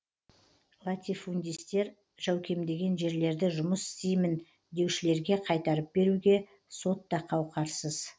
латифундистер жәукемдеген жерлерді жұмыс істеймін деушілерге қайтарып беруге сот та қауқарсыз